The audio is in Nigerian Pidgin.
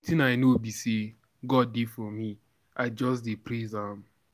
Wetin I know be say God dey for me, I just dey praise am.